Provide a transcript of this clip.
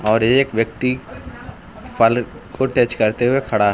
और एक व्यक्ति फल को टच करते हुए खड़ा है।